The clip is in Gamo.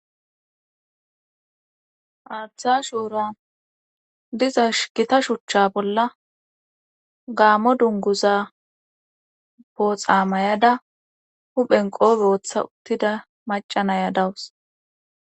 Haaththa shuura diza shkita shuchcha bolla gaammo dunguza booxa mayada huphenqo booththa uttida macanaya dawus.